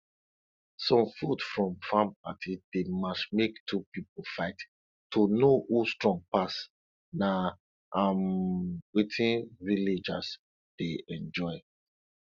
some food from farm party dey match make two pipo fight to know who strong pass na um wetin villagers dey enjoy